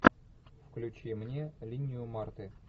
включи мне линию марты